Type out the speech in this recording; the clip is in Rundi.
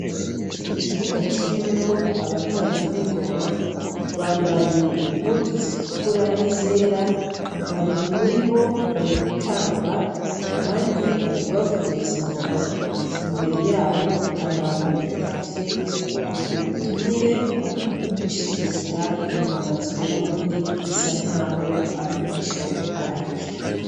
Ikibuga kirimwo abatamvyi b'ingoma, bambaye impuzu zitukura n'izera, babiri muribo bari gutamba abandi bari kubavugiriza ingoma imbere yabo hari abantu bitavye ubwo butumire bw'ugushigikira ingoma z'uburundi zisa nkaho ari umuco waco.